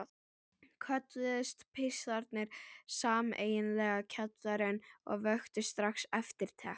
Kölluðust pistlarnir sameiginlega Kjallarinn og vöktu strax eftirtekt.